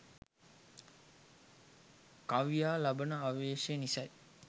කවියා ලබන ආවේශය නිසයි.